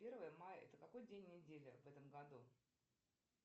первое мая это какой день недели в этом году